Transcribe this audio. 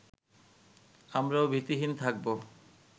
আমরাও ভীতিহীন খাকবো